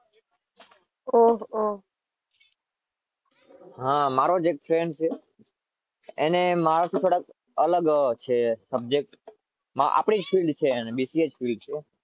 ઓહ ઓહ હા મારો જ એક ફ્રેન્ડ છે.